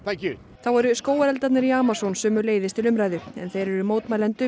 þá eru skógareldarnir í Amazon sömuleiðis til umræðu en þeir eru mótmælendum